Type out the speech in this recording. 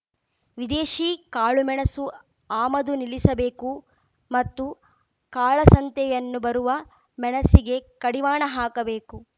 ವಿದೇಶಿ ಕಾಳುಮೆಣಸು ಆಮದು ನಿಲ್ಲಿಸಬೇಕು ಮತ್ತು ಕಾಳಸಂತೆಯನ್ನು ಬರುವ ಮೆಣಸಿಗೆ ಕಡಿವಾಣ ಹಾಕಬೇಕು